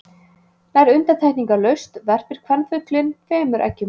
Nær undantekningarlaust verpir kvenfuglinn tveimur eggjum.